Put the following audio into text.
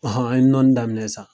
Ɔnhɔn an ye nɔni daminɛ sisan